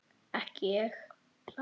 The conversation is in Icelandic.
Ekki ég.